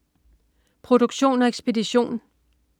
Produktion og ekspedition: